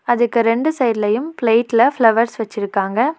அதுக்கு ரெண்டு சைட்லயும் ப்ளெய்ட்ல ஃபிளவர்ஸ் வெச்சுருக்காங்க.